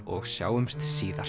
og sjáumst síðar